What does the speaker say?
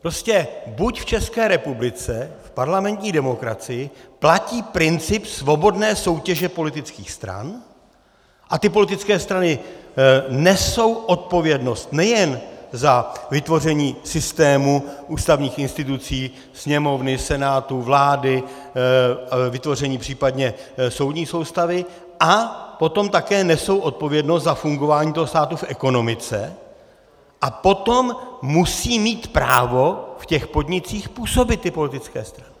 Prostě buď v České republice v parlamentní demokracii platí princip svobodné soutěže politických stran a ty politické strany nesou odpovědnost nejen za vytvoření systému ústavních institucí, Sněmovny, Senátu, vlády, vytvoření případně soudní soustavy, a potom také nesou odpovědnost za fungování toho státu v ekonomice, a potom musí mít právo v těch podnicích působit ty politické strany.